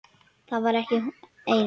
Var hún ekki ein?